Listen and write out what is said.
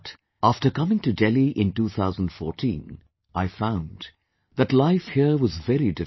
But after coming to Delhi in 2014, I found that life here was very different